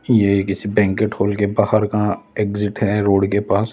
ये किसी banquet hall के बाहर का एग्जिट है रोड के पास--